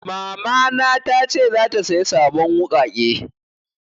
Mama na ta ce zata saya sabon wuƙaƙe